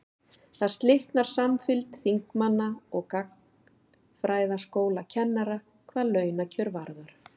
þar slitnar samfylgd þingmanna og gagnfræðaskólakennara hvað launakjör varðar